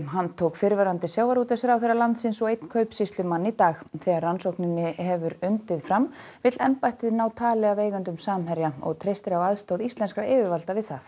handtók fyrrverandi sjávarútvegsráðherra landsins og einn kaupsýslumann í dag þegar rannsókninni hefur undið fram vill embættið ná tali af eigendum Samherja og treystir á aðstoð íslenskra yfirvalda við það